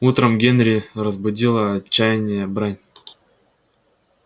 утром генри разбудила отчаянная брань